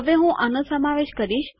હવે હું આનો સમાવેશ કરીશ